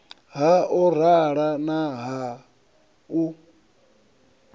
ha orala na ha u